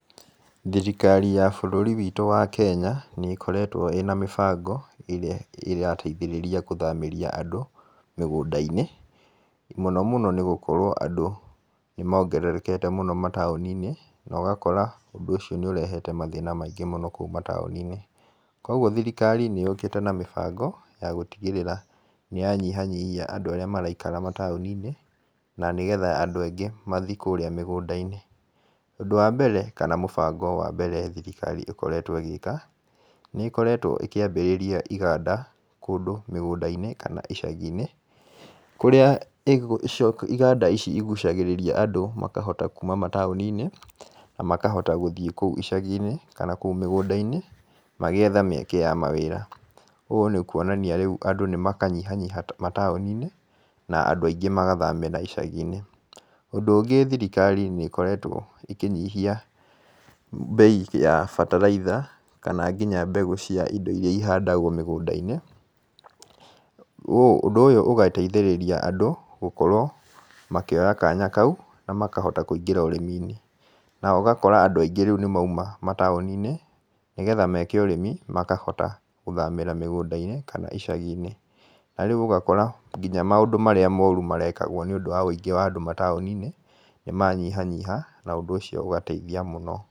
Thirikari ya bũrũri witũ wa Kenya nĩ ĩkoretwo ĩna mĩbango ĩrĩa ĩrateithĩrĩria gũthamĩria andũ mĩgũnda-inĩ. Mũno mũno nĩ gũkorwo andũ nĩ mongererekete mũno mataũni-inĩ na ũgakora ũndũ ũcio nĩ ũrehete mathĩna maingĩ mũno kũu mataũni-inĩ. Koguo thirikari nĩ yũkĩte na mĩbango ya gũtigĩrĩra nĩ yanyihanyihia andũ arĩa maraikara mataũni-inĩ na nĩgetha andũ aingĩ mathiĩ kũrĩa mĩgũnda-inĩ. Ũndũ wa mbere kana mũbango wa mbere thirikari ĩkoretwo ĩgĩka, nĩ ĩkoretwo ĩkĩambĩrĩria iganda mĩgũnda-inĩ kana icagi-inĩ. Kũrĩa iganda ici igucagĩrĩria andũ makahota kuuma mataũni-inĩ na makahota gũthiĩ kũu icagi-inĩ kana kũu mĩgũnda-inĩ magĩetha mĩeke ya mawĩra. Ũũ nĩ kuonania rĩu andũ nĩ makanyihanyiha mataũni-inĩ na andũ aingĩ magathamĩra icagi-inĩ. Ũndũ ũngĩ thirikari nĩ ĩkoretwo ĩkĩnyihia mbei ya bataraitha kana nginya mbegũ cia indo irĩa ihandagwo mĩgũnda-inĩ. Ũndũ ũyũ ũgateithĩrĩria andũ gũkorwo makĩoya kanya kau na makahota kũingĩra ũrĩmi-inĩ. Na ũgakora andũ aingĩ rĩu nĩ moima mataũni-inĩ nĩgetha meke ũrĩmi makahota gũthamĩra mĩgũnda-inĩ kana icagi-inĩ. Na rĩu ũgakora nginya maũndũ marĩa moru marekagwo nĩ ũndũ wa ũingĩ wa andũ mataũni-inĩ nĩmanyihanyiha na ũndũ ũcio ũgateithia mũno.